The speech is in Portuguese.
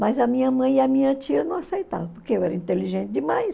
Mas a minha mãe e a minha tia não aceitavam, porque eu era inteligente demais.